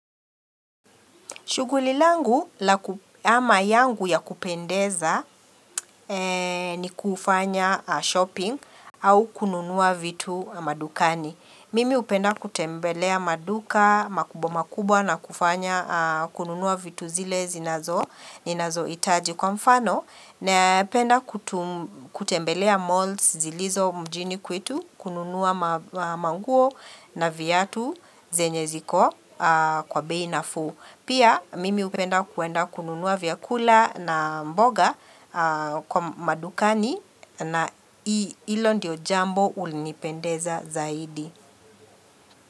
Shughuli langu ama yangu ya kupendeza. Ni kufanya shopping au kununua vitu madukani. Mimi hupenda kutembelea maduka makubwa makubwa na kufanya kununua vitu zile zinazo ninazo hitaji kwa mfano. Na penda kutembelea malls zilizo mjini kwetu kununua manguo na viatu zenye ziko kwa bei nafuu. Pia mimi hupenda kuenda kununua vyakula na mboga kwa madukani. Na hilo ndiyo jambo ulinipendeza zaidi.